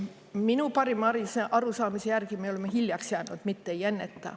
Minu parima arusaamise järgi me oleme hiljaks jäänud, mitte ei enneta.